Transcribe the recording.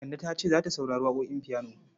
Kande ta ce za ta saurari waƙoƙin fiyano.